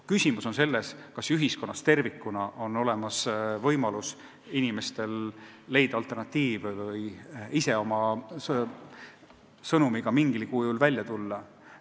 Küsimus on selles, kas ühiskonnas tervikuna on inimestel võimalus leida ka alternatiive või ise oma sõnumiga mingil kujul välja tulla.